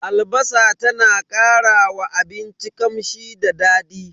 Albasa ta na karawa abinci kamshi da dadi.